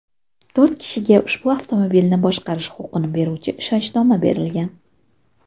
To‘rt kishiga ushbu avtomobilni boshqarish huquqini beruvchi ishonchnoma berilgan.